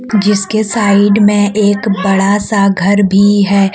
जिसके साइड मे एक बड़ा सा घर भी है।